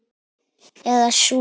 Eða sú.